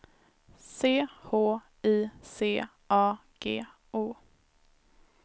C H I C A G O